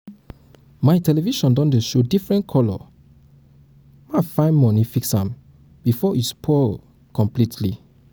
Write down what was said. my television don dey show different color my find money um fix am before um e spoil um e spoil completely